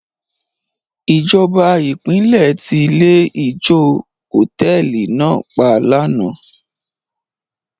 Ìjọba ìpínlẹ̀ ti ilé-ijó hòtẹ́ẹ́lì náà pa lánàá.